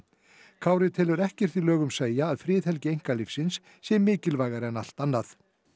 Kári telur ekkert í lögum segja að friðhelgi einkalífsins sé mikilvægari en allt annað